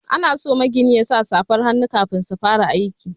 Ana so magini yasa safar hannu kafin su fara aiki.